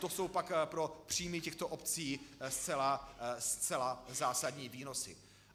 To jsou pak pro příjmy těchto obcí zcela zásadní výnosy.